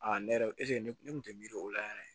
ne yɛrɛ ne kun tɛ miiri o la yɛrɛ